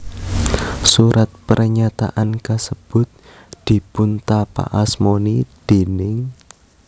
Surat pernyataan kasebut dipuntapakasmani déning